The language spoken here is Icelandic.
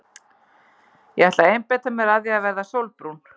Ég ætla að einbeita mér að því að verða sólbrún.